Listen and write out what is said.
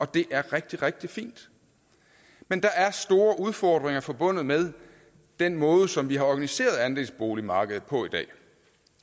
det er rigtig rigtig fint men der er store udfordringer forbundet med den måde som vi har organiseret andelsboligmarkedet på i dag